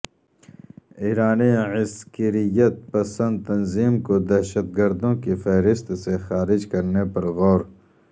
ایرانی عسکریت پسند تنظیم کو دہشت گردوں کی فہرست سے خارج کرنے پر غور